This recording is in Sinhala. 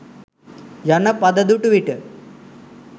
යන පද දුටු විට